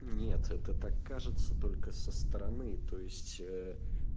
нет это так кажется только со стороны то есть ээ